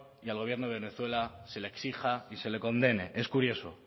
y al gobierno de venezuela se le exija y se le condene es curioso